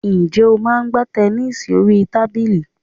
Ǹjẹ́ o máa ń gbá tẹnísì orí tábìlì?